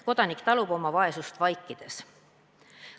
Kodanik talub oma vaesust vaikides.